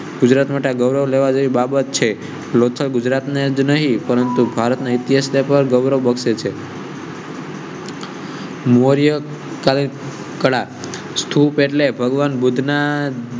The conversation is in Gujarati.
ગુજરાત માટે ગૌરવ લેવા જેવી બાબત છે. લોકો ગુજરાત ને જ નહીં પરંતુ ભારતના ઇતિહાસ પર ગૌરવ બક્ષે છે. મૌર્ય. સ્કૂપ એટલે ભગવાન બુધ્ધ ના